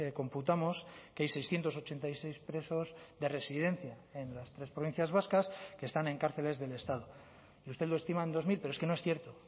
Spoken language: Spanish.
computamos que hay seiscientos ochenta y seis presos de residencia en las tres provincias vascas que están en cárceles del estado y usted lo estima en dos mil pero es que no es cierto